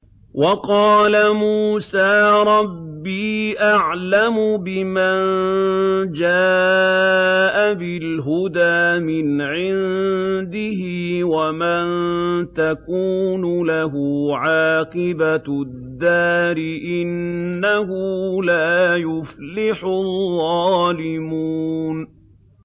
وَقَالَ مُوسَىٰ رَبِّي أَعْلَمُ بِمَن جَاءَ بِالْهُدَىٰ مِنْ عِندِهِ وَمَن تَكُونُ لَهُ عَاقِبَةُ الدَّارِ ۖ إِنَّهُ لَا يُفْلِحُ الظَّالِمُونَ